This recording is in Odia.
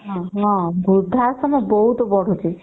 ହୁଁ ବୃଦ୍ଧା ଆଶ୍ରମ ବହୁତ ବଢୁଛି